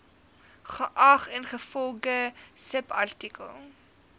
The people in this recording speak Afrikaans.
geag ingevolge subartikel